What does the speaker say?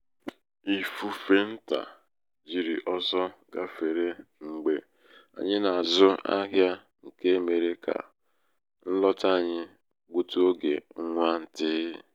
ifufe ntà um jiri oso gáfere mgbe anyị na-azụ ahịa nke mere ka um nlọta anyị gbutụ oge nwa ntịị.